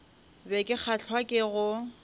be ke kgahlwa ke go